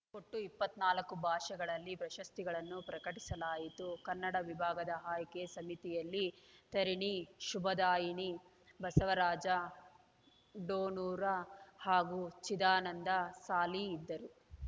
ಒಟ್ಟು ಇಪ್ಪತ್ತ್ ನಾಲ್ಕು ಭಾಷೆಗಳಲ್ಲಿ ಪ್ರಶಸ್ತಿಗಳನ್ನು ಪ್ರಕಟಿಸಲಾಯಿತು ಕನ್ನಡ ವಿಭಾಗದ ಆಯ್ಕೆ ಸಮಿತಿಯಲ್ಲಿ ತಾರಿಣಿ ಶುಭದಾಯಿನಿ ಬಸವರಾಜ ಡೋಣೂರ ಹಾಗೂ ಚಿದಾನಂದ ಸಾಲಿ ಇದ್ದರು